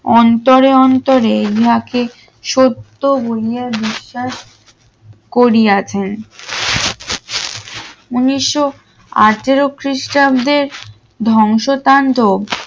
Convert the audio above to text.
অন্তরে অন্তরে যাকে সত্য বলে বিশ্বাস করিয়াছেন উন্নিশশো আটের খ্রিস্টাব্দের ধ্বংসতান্ড